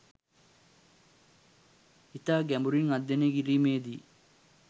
ඉතා ගැඹුරින් අධ්‍යයනය කිරිමේදී